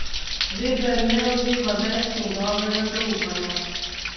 Veber ne uživa več njegovega zaupanja.